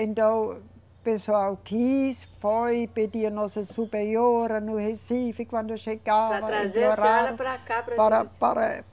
Então o pessoal quis, foi, pediu a nossa superiora no Recife, quando eu chegava. Para trazer a senhora para cá. Para, para